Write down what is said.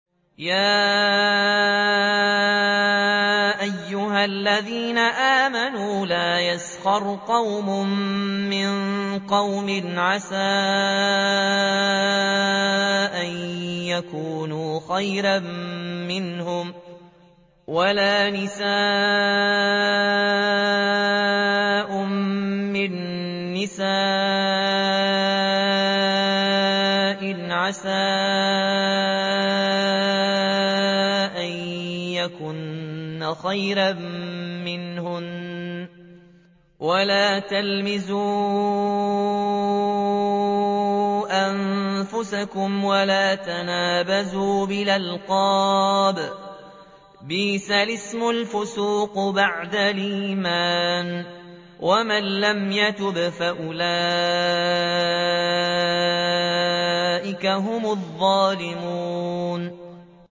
يَا أَيُّهَا الَّذِينَ آمَنُوا لَا يَسْخَرْ قَوْمٌ مِّن قَوْمٍ عَسَىٰ أَن يَكُونُوا خَيْرًا مِّنْهُمْ وَلَا نِسَاءٌ مِّن نِّسَاءٍ عَسَىٰ أَن يَكُنَّ خَيْرًا مِّنْهُنَّ ۖ وَلَا تَلْمِزُوا أَنفُسَكُمْ وَلَا تَنَابَزُوا بِالْأَلْقَابِ ۖ بِئْسَ الِاسْمُ الْفُسُوقُ بَعْدَ الْإِيمَانِ ۚ وَمَن لَّمْ يَتُبْ فَأُولَٰئِكَ هُمُ الظَّالِمُونَ